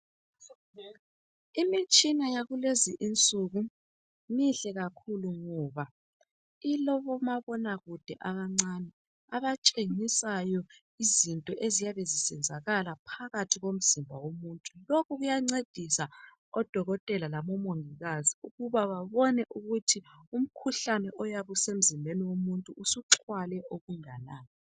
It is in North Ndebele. Imitshina yakulezinsuku mihle kakhulu ngoba ilabomabonakude abancane abatshengisayo izinto eziyabe zisenzakala phakathi komzimba womuntu lokhu kuyancedisa odokotela labomongikazi ukuba babone ukuthi umkhuhlane oyabe usemzimbeni womuntu usuxhwale okunganani.